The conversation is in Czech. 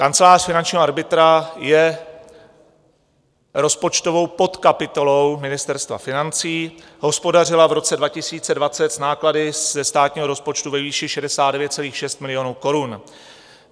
Kancelář finančního arbitra je rozpočtovou podkapitolou Ministerstva financí, hospodařila v roce 2020 s náklady ze státního rozpočtu ve výši 69,6 milionu korun.